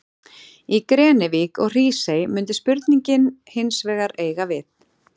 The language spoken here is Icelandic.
Í Grenivík og Hrísey mundi spurningin hins vegar eiga við.